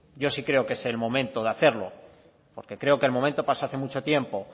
yo sí creo que es el momento de hacerlo porque creo que el momento pasó hace mucho tiempo